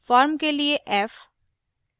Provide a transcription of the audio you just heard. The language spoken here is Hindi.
firm के लिए f